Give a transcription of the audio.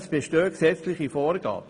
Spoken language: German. Es bestehen gesetzliche Vorgaben.